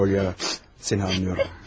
Poyana, səni anlayıram.